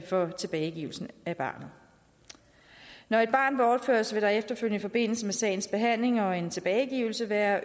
for tilbagegivelse af barnet når et barn bortføres vil der efterfølgende i forbindelse med sagens behandling og en tilbagegivelse være